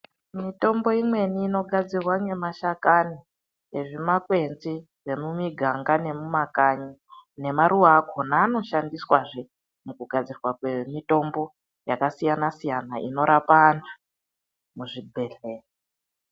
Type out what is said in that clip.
Mitombo imweni inogadzirwa ngemashakani ezvimakwenzi zvemumiganga nemumakanyi. Nemaruwa akhona anoshandiswazve mukugadzirwa kwemitombo yakasiyana -siyana, inorapa anhu muzvibhedhleya.